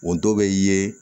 Wotoro be ye